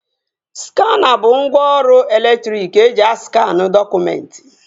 Skana bụ ngwaọrụ elektriki eji askanụ dọkụmentị